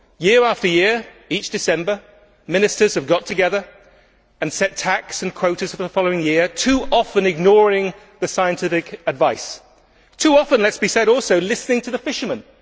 Year after year, each December, Ministers have got together and set TACs and quotas for the following year, too often ignoring the scientific advice and too often, let it be said, listening to the fishermen.